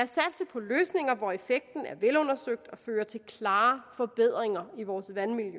på løsninger hvor effekten er velundersøgt og fører til klare forbedringer i vores vandmiljø